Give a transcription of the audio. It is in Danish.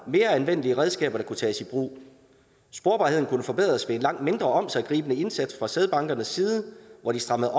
mere anvendelige redskaber der kunne tages i brug sporbarheden kunne forbedres ved en langt mindre omsiggribende indsats fra sædbankernes side hvor de strammede